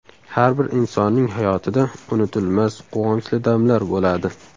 Har bir insonning hayotida unutilmas quvonchli damlar bo‘ladi.